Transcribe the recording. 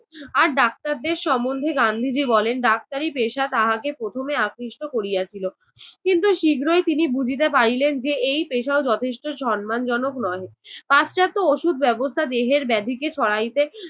আর ডাক্তারদের সম্বন্ধে গান্ধীজি বলেন, ডাক্তারি পেশা তাহাকে প্রথমে আকৃষ্ট করিয়াছিল, কিন্তু শীঘ্রই তিনি বুঝিতে পারিলেন যে এই পেশাও যথেষ্ট সন্মানজনক নহে। পাশ্চাত্য ওষুধ ব্যবস্থা দেহের ব্যাধিকে সরাইতে